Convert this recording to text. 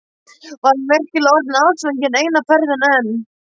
Var hann virkilega orðinn ástfanginn eina ferðina enn?